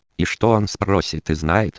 и что он спросит и знает